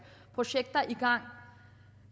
projekter i gang